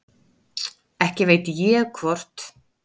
Ekki veit ég hvort